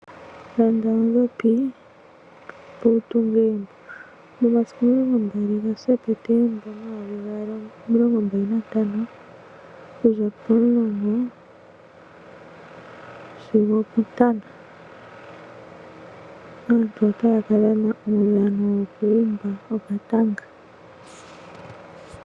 Landa oondhopi, opo wu tunge egumbo. Momasiku 20 Septemba 2025, okuza pomulongo sigo opontano aantu otaya ka dhana uudhano woku umba okatanga.